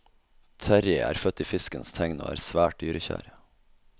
Terrie er født i fiskens tegn og er svært dyrekjær.